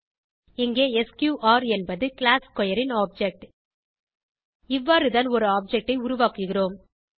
இங்கே எஸ்கியூஆர் என்பது class square ன் ஆப்ஜெக்ட் இவ்வாறுதான் ஒரு ஆப்ஜெக்ட் ஐ உருவாக்குகிறோம்